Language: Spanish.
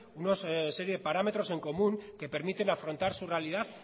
una serie de parámetros en común que permiten afrontar su realidad